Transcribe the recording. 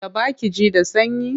Taɓa ki ji da sanyi?